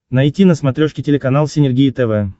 найти на смотрешке телеканал синергия тв